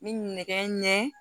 N bɛ nɛgɛ ɲɛ